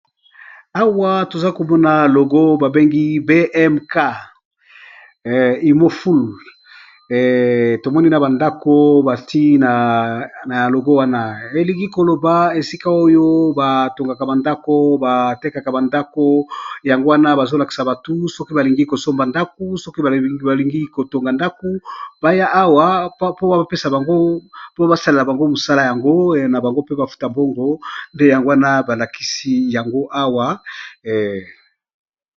Awa tozomona logo babengi bmk umoful tomoni na bandaku batie na logo , wana elingi eloba esika batongaka bandaku sima batekisi bandaku, yango wana bazolakisa batu soki balingi kosomba ndaku balingi kotonga ndaku baya awa po basunga bango.